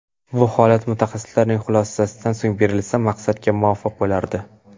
Bu holat mutaxassislarning xulosasidan so‘ng berilsa maqsadga muvofiq bo‘lardi.